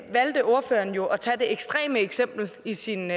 valgte ordføreren jo at tage det ekstreme eksempel i sin